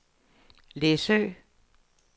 Læsø